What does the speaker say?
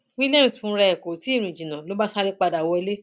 williams fúnra ẹ kò tí ì rìn jìnnà ló bá sáré padà wọlé